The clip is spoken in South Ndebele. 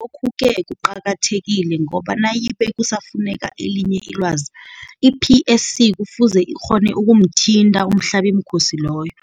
Lokhu-ke kuqakathekile ngoba nayibe kusafuneka elinye ilwazi, i-PSC kufuze ikghone ukumthinta umhlabimkhosi loyo.